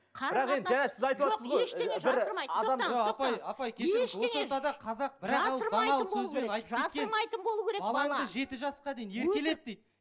балаңды жеті жасқа дейін еркелет дейді